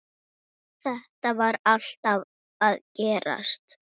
Þetta var alltaf að gerast.